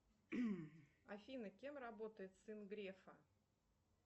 афина кем работает сын грефа